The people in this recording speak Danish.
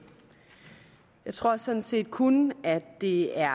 jeg tror sådan set kun at det er